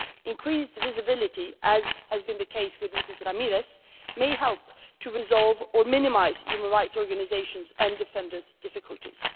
Increased visibility, as has been the case with Ms Ramirez, may help to resolve or minimise human rights organisations' and defenders' difficulties.